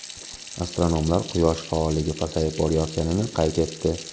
Astronomlar Quyosh faolligi pasayib borayotganini qayd etdi.